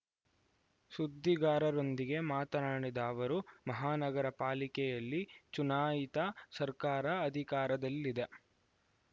ಸುದ್ದಿಗಾರರೊಂದಿಗೆ ಮಾತನಾಡಿದ ಅವರು ಮಹಾನಗರಪಾಲಿಕೆಯಲ್ಲಿ ಚುನಾಯಿತ ಸರ್ಕಾರ ಅಧಿಕಾರದಲ್ಲಿದೆ